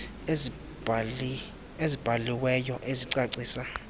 ezibhali weyo ezicacisa